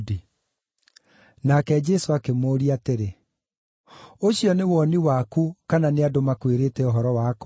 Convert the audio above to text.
Nake Jesũ akĩmũũria atĩrĩ, “Ũcio nĩ woni waku, kana nĩ andũ makwĩrĩte ũhoro wakwa?”